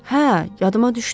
Hə, yadıma düşdü.